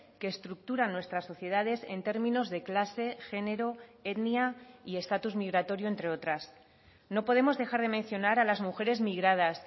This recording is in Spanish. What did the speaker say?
que estructuran nuestras sociedades en términos de clase género etnia y estatus migratorio entre otras no podemos dejar de mencionar a las mujeres migradas